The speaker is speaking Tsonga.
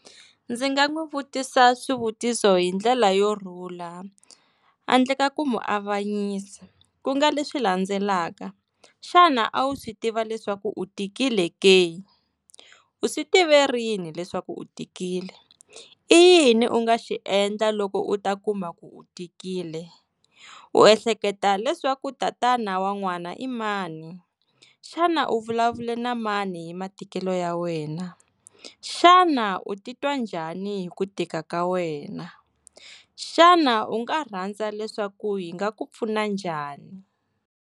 Ndzi nga n'wi vutisa swivutiso hindlela yo rhula handle ka ku n'wi muavanyisa ku nga leswi landzelaka, xana a wu swi tiva leswaku u tikile ke, u swi tive rini leswaku u tikile, i yini u nga xi endla loko u ta kuma ku u tikile, u ehleketa leswaku tatana wa n'wana i mani, xana u vulavule na mani hi matikelo ya wena, xana u titwa njhani hi ku tika ka wena, xana u nga rhandza leswaku hi nga ku pfuna njhani?